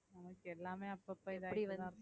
நமக்கு எல்லாமே அப்பப்ப இத